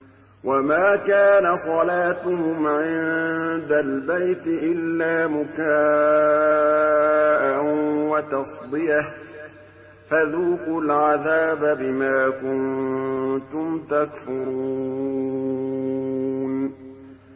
وَمَا كَانَ صَلَاتُهُمْ عِندَ الْبَيْتِ إِلَّا مُكَاءً وَتَصْدِيَةً ۚ فَذُوقُوا الْعَذَابَ بِمَا كُنتُمْ تَكْفُرُونَ